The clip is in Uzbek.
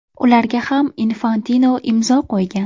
Ularga ham Infantino imzo qo‘ygan.